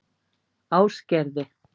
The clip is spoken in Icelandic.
Ásgerði